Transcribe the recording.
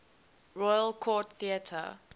royal court theatre